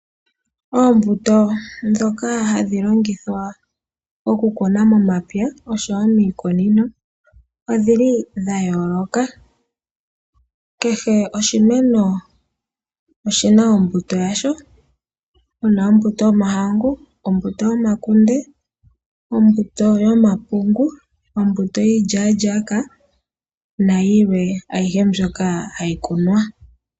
Oombuto ndhoka hadhi longithwa okukuna momapya oshowo miikunino odhili dha yooloka. Kehe oshimeno oshimeno oshina ombuto yasho . Opuna ombuto yomahangu, ombuto yomakunde, ombuto yomapungu, ombuto yiilya lyaaka nayilwe. Ayihe mbyoka hayi kunwa.